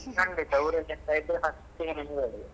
ಖಂಡಿತ ಊರಲ್ಲಿ ಎಂತಾದ್ರೂ ಇದ್ರೆ first ಗೆ ನಿಮಿಗೆ ಹೇಳುದು.